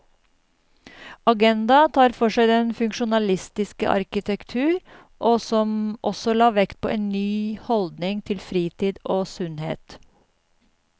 Agenda tar for seg den funksjonalistiske arkitektur, som også la vekt på en ny holdning til fritid og sunnhet.